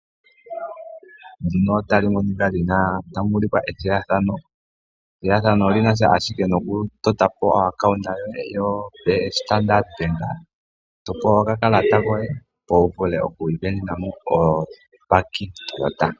Ethigathano linasha nokutotapo omapungulilo kombaanga yoStandard bank to pewa okakalata koye, opo vule okwiisindanena ombaki yoToyota.